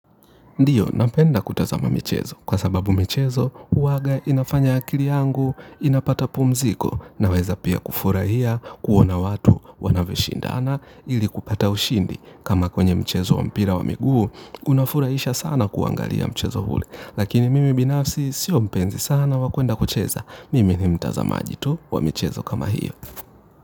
Ndiyo napenda kutazama michezo kwa sababu michezo uwaga inafanya akili yangu inapata pumziko naweza pia kufurahia kuona watu wanavyoshindana ili kupata ushindi kama kwenye mchezo wa mpira wa miguu unafurahisha sana kuangalia mchezo ule. Lakini mimi binafsi sio mpenzi sana wa kuenda kucheza mimi ni mtazamaji tu wa michezo kama hiyo.